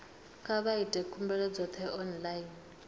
kha vha ite khumbelo dzoṱhe online